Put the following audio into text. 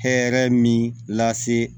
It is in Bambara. Hɛrɛ min lase